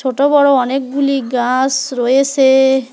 ছোট বড় অনেকগুলি গাস রয়েসে।